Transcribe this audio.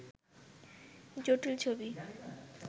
জটিল ছবি